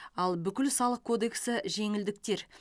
ал бүкіл салық кодексі жеңілдіктер